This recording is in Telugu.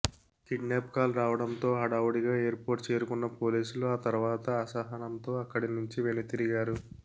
కిడ్నాప్ కాల్ రావడంతో హడావుడిగా ఎయిర్ పోర్ట్ చేరుకున్న పోలీసులు ఆ తర్వాత అసహనంతో అక్కడి నుంచి వెనుతిరిగారు